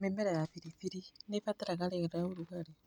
Mĩmera ya biribiri nĩ ibataraga rĩera rĩa ũrugarĩ.